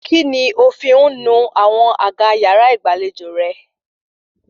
Kíni o fi ń nu àwọn àga yàrá ìgbàlejò rẹ?